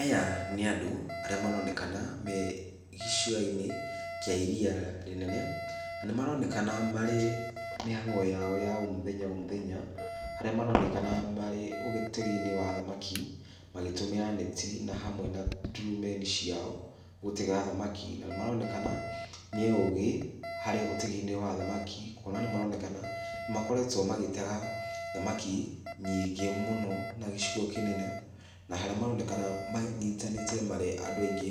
Aya nĩ andũ arĩa maronekana me giciyanĩ kĩa iria rĩnene, na nĩ maronekana marĩ mĩhango yao ya o mũthenya, o mũthenya, harĩa maronekana marĩ ũgĩteginĩ wa thamaki, magĩtũmĩra neti, na hamwe na ndurumeni ciao gũtega thamaki, na nĩ maronekana nĩ ogĩ harĩ ũteginĩ wa thamaki , kwona nĩ maronekana nĩ makoretwo magĩtega thamaki nyingĩ mũno, na gĩcigo kĩnene, na harĩa maronekana manyitanĩte marĩ andũ aingĩ,